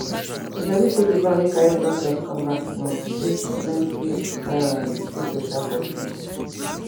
you sabi saydi van wey carry doctors come last month treat plenty um pipo um for free